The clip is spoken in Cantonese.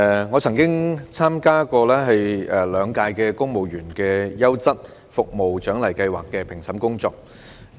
我曾經參與兩屆公務員優質服務獎勵計劃的評審工作。